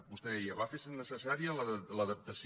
vostè deia va fer necessària l’adaptació